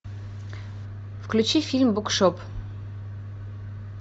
включи фильм букшоп